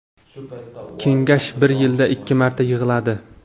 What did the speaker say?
Kengash bir yilda ikki marta yig‘iladi.